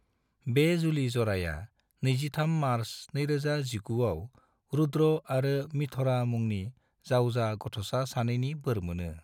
बे जुलि ज'राया 23 मार्च 2019 आव रुद्र आरो मिथरा मुंनि जावजा गथ'सा सानैनि बोर मोनो।